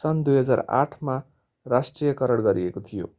सन् 2008 मा राष्ट्रियकरण गरिएको थियो